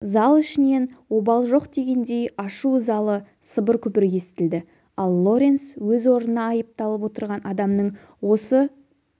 зал ішінен обал жоқ дегендей ашу-ызалы сыбыр-күбір естілді ал лоренс өз орнына айыпталып отырған адамның осы